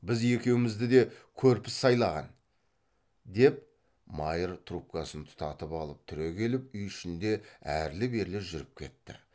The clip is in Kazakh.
біз екеумізді де көрпіс сайлаған деп майыр трубкасын тұтатып алып түрегеліп үй ішінде әрлі берлі жүріп кетті